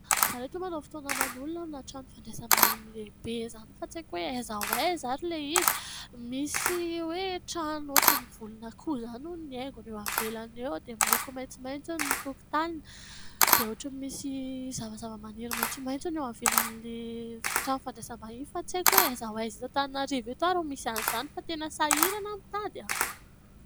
Za ry reto manao fotoana aman'olona amina trano fandraisam-bahiny lehibe izany fa tsaiko hoe aiza ho aiza ary ilay izy .Misy hoe trano ohatran' ny volon'akoho izany no haingon'ny eo ivelany eo, dia miloko maitsomaitso ny tokontaniny dia ohatrany misy zavazava-maniry maitsomaitso hono eo ivelan'io trano fandraisam-bahiny io; fa tsy haiko hoe aiza ho aiza eto Antananarivo ary ho misy an' izany fa tena sahirana aho nitady ?